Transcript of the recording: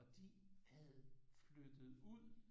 Og de havde flyttet ud